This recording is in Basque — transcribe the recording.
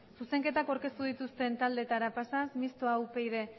zuzenketak aurkeztu dituzten taldeetara pasaz mistoa upyd